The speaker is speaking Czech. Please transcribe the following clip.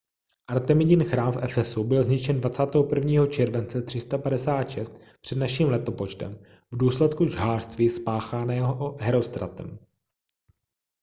artemidin chrám v efesu byl zničen 21. července 356 př.n.l. v důsledku žhářství spáchaného herostratem